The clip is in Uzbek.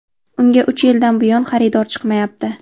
Unga uch yildan buyon xaridor chiqmayapti.